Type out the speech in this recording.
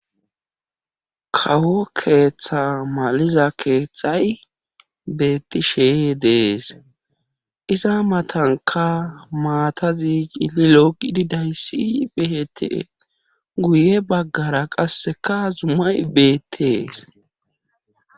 kawo keeththa maliza keeththay beettishee de'es iza matanka maatazi cililolo gididayssi betes guye baggara qasseka zumay beettees